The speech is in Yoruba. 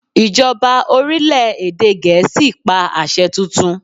Ìjọba orílẹ̀ èdè Gèésì pa àṣẹ tuntun!